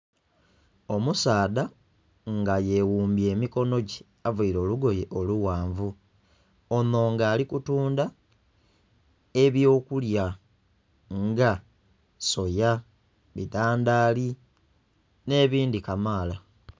Omusaadha nga yeghumbye emikono gye avaire olugoye olughanvu onho nga alikutundha ebyokulya nga soya, bidhandhali n'ebindhi kamala.